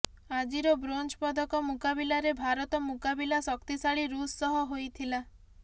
ଆଜିର ବ୍ରୋଞ୍ଜ ପଦକ ମୁକାବିଲାରେ ଭାରତ ମୁକାବିଲା ଶକ୍ତିଶାଳୀ ରୁଷ ସହ ହୋଇଥିଲା